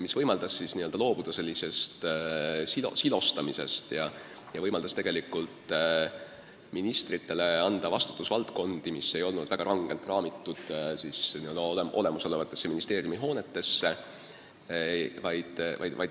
See võimaldas loobuda nn silostamisest ja anda ministritele vastutusvaldkondi, mis ei olnud väga rangelt raamitud olemasolevate ministeeriumihoonetega.